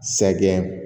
Sɛgɛn